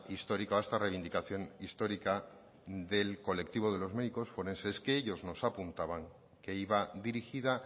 histórico a esta reivindicación histórica del colectivo de los médicos forenses que ellos nos apuntaban que iba dirigida